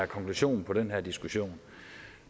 konklusionen på den her diskussion